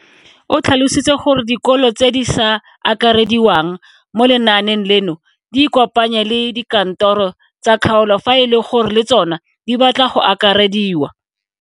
O tlhalositse gore dikolo tse di sa akarediwang mo lenaaneng leno di ikopanye le dikantoro tsa kgaolo fa e le gore le tsona di batla go akarediwa.